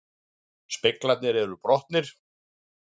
Speglarnir eru brotnir